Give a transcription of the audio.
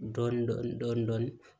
Dɔɔnin dɔɔnin dɔɔnin